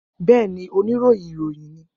Bẹẹni, onirohin iroyin ni.